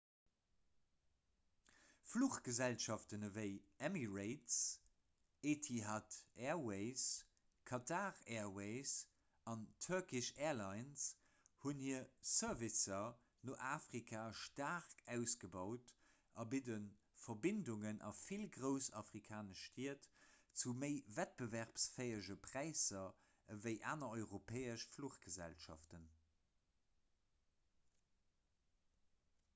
fluchgesellschaften ewéi emirates etihad airways qatar airways an turkish airlines hunn hir servicer no afrika staark ausgebaut a bidde verbindungen a vill grouss afrikanesch stied zu méi wettbewerbsfäege präisser ewéi aner europäesch fluchgesellschaften